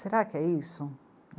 Será que é isso?